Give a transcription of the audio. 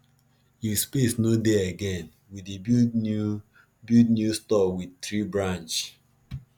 if space no dey again we dey build new build new store with tree branch